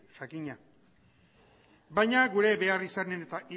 jakina baina gure beharrizanen eta